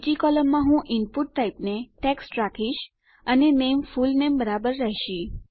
બીજી કોલમમાં હું ઈનપુટ ટાઈપને ટેક્સ્ટ રાખીશ અને નેમ ફુલનેમ બરાબર રહેશે